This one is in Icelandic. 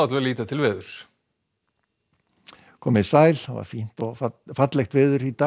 við líta til veðurs komið sæl það var fínt og fallegt veður í dag